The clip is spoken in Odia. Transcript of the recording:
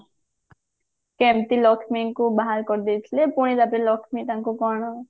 କେମତି ଲକ୍ଷ୍ମୀଙ୍କୁ ବାହାର କରିଦେଇଥିଲେ ପୁଣି ତାପରେ ଲକ୍ଷ୍ମୀ ତାଙ୍କୁ କଣ